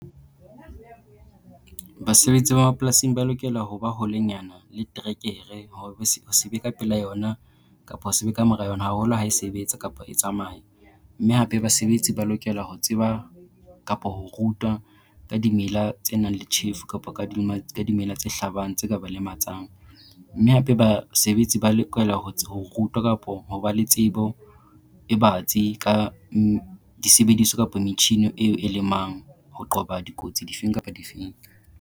Basebetsi ba mapolasing ba lokela ho ba holenyana le terekere ho se be ka pela yona, kapo ho se be ka mora yona haholo ha e sebetsa kapa e tsamaya. Mme hape basebetsi ba lokela ho tseba kapa ho rutwa ka dimela tse nang le tjhefu kapa ka dimela tse hlabang tse ka ba lematsang. Mme hape basebetsi ba lokela ho rutwa kapo ho ba le tsebo e batsi ka disebediso kapa metjhini eo e lemang ho qoba dikotsi difeng kapa difeng.